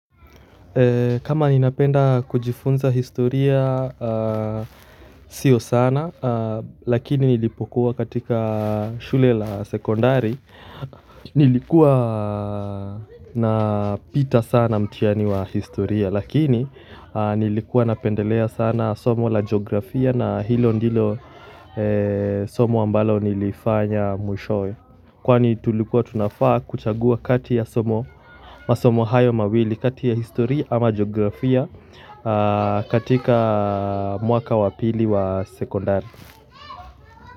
Kama ninapenda kujifunza historia si sana, lakini nilipokuwa katika shule la sekondari, nilikuwa napita sana mtihani wa historia, lakini nilikuwa napendelea sana somo la jiografia na hilo ndilo somo ambalo nilifanya mwishowe. Kwani tulikuwa tunafaa kuchagua kati ya somo, masomo hayo mawili kati ya historia ama jiografia katika mwaka wa pili wa sekondari.